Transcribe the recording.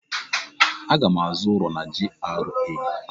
Aga m azụ ụlọ na GRA.